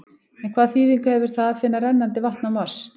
En hvaða þýðingu hefur það að finna rennandi vatn á Mars?